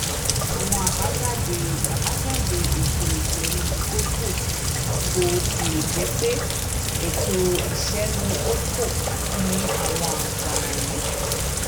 àwọn àbájáde àbájáde ètò ìṣèlú holdco bó tilẹ jẹ pé ètò ìṣèlú holdco ní àwọn àǹfààní